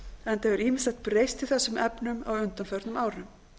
enda hefur ýmislegt breyst í þessum efnum á undanförnum árum